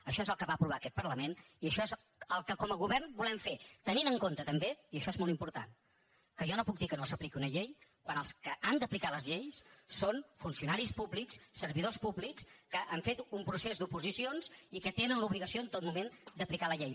això és el que va aprovar aquest parlament i això és el que com a govern volem fer tenint en compte també i això és molt important que jo no puc dir que no s’apliqui una llei quan els que han d’aplicar les lleis són funcionaris públics servidors públics que han fet un procés d’oposicions i que tenen l’obligació en tot moment d’aplicar la llei